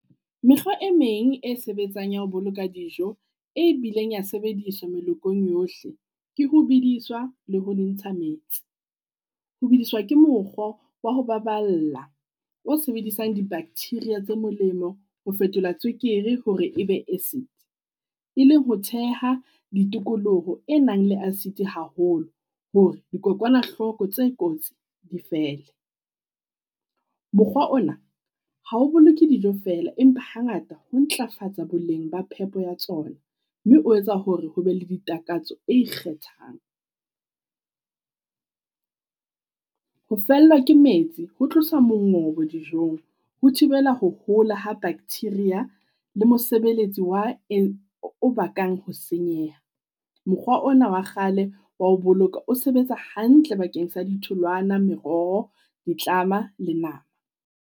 Mekgw e meng e sebetsang ya ho boloka dijo e bileng ya sebediswa melokong yohle, ke ho bediswa le ho entsha metsi. Ho beiswa ke mokgo wa ho baballa o sebedisang di-bacteria tse molemo ho fetola tswekere hore e be acid. E leng ho theha ditikoloho e nang le acid haholo hore dikokwanahloko tse kotsi di fele. Mokgwa ona ha o boloke dijo feela, empa hangata ho ntlafatsa boleng ba phepo ya tsona, mme o etsa hore ho be le ditakatso e ikgethang. Ho fellwa ke metsi, ho tloswa mongobo dijong, ho thibela ho hola ha bacteria le mosebeletsi wa e, o bakang ho senyeha. Mokgwa ona wa kgale wa ho boloka o sebetsa hantle bakeng sa ditholwana, meroho, ditlama le nama.